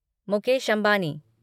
Mukesh Ambani